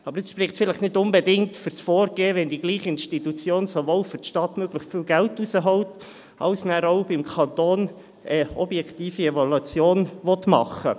Dies spricht aber möglicherweise nicht unbedingt für das Vorgehen, wenn dieselbe Institution sowohl für die Stadt möglichst viel Geld herausholt als auch für den Kanton eine objektive Evaluation durchführen möchte.